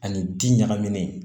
Ani bin ɲagaminen